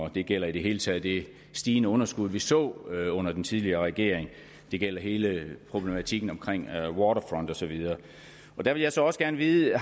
det gælder i det hele taget det stigende underskud vi så under den tidligere regering det gælder hele problematikken omkring waterfront og så videre der vil jeg så også gerne vide